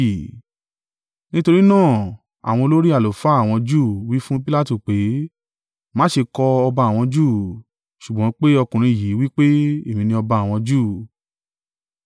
Nítorí náà àwọn olórí àlùfáà àwọn Júù wí fún Pilatu pé, “Má ṣe kọ, ‘Ọba àwọn Júù,’ ṣùgbọ́n pé ọkùnrin yìí wí pé, èmi ni ọba àwọn Júù.”